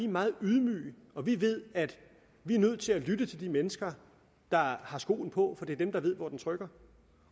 meget ydmyge og vi ved at vi er nødt til at lytte til de mennesker der har skoen på for det er dem der ved hvor den trykker